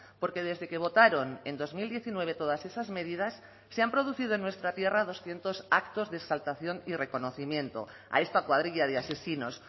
porque desde que votaron en dos mil diecinueve todas esas medidas se han producido en nuestra tierra doscientos actos de exaltación y reconocimiento a esta cuadrilla de asesinos